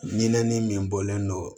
Ɲinɛ ni min bɔlen don